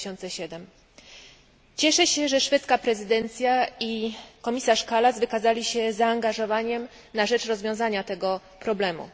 2007. Cieszę się, że szwedzka prezydencja i komisarz Kallas wykazali się zaangażowaniem na rzecz rozwiązania tego problemu.